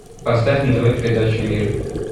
поставь на тв передачу мир